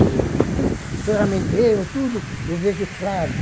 Tudo ferramenteiro, tudo, eu vejo claro.